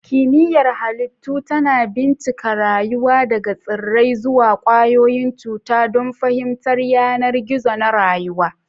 Kimiyyar Halittu tana bincika rayuwa daga tsirrai zuwa ƙwayoyin cuta don fahimtar yanar gizo na rayuwa.